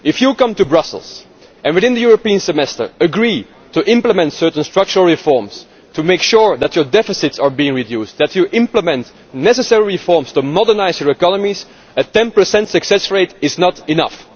If you come to Brussels and within the European Semester you agree to implement certain structural reforms to make sure that your deficits are being reduced, that you implement the necessary reforms to modernise your economies, a 10 success rate is not enough.